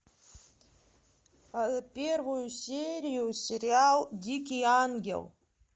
первую серию сериал дикий ангел